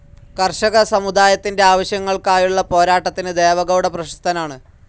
കർഷക സമുദായത്തിൻ്റെ ആവശ്യങ്ങൾക്കായുള്ള പോരാട്ടത്തിന് ദേവഗൗഡ പ്രശസ്തനാണ്.